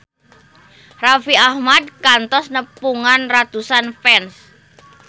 Raffi Ahmad kantos nepungan ratusan fans